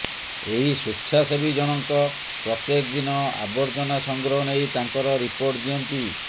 ଏହି ସ୍ୱେଚ୍ଛାସେବୀ ଜଣଙ୍କ ପ୍ରତ୍ୟେକ ଦିନ ଆବର୍ଜନା ସଂଗ୍ରହ ନେଇ ତାଙ୍କର ରିପୋର୍ଟ ଦିଅନ୍ତି